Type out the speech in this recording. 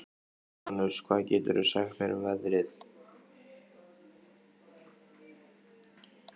Úranus, hvað geturðu sagt mér um veðrið?